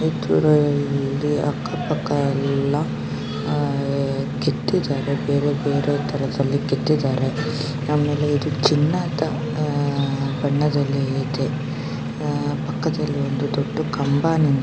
ಆಕ್ಕಪಕ್ಕದಲ್ಲೆಲ್ಲಾ ಕೆತ್ತಿದ್ದಾರೆ ಬೇರೆ ಬೇರೆ ತರಹ ಕೆತ್ತಿದ್ದಾರೆ ಆಮೇಲೆ ಇದು ಚಿನ್ನ ಅಂತ ಬಣ್ಣದಲ್ಲಿ ಇದೆ ಪಕ್ಕದಲ್ಲಿಒಂದು ದೊಡ್ಡ್ ಕಂಬ ನಿಂತಿದೆ.